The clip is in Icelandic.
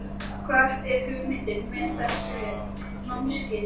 Hver er hugmyndin með þessu námskeiði?